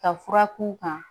Ka fura kun kan